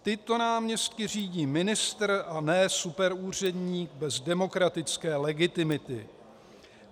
Tyto náměstky řídí ministr a ne superúředník bez demokratické legitimity.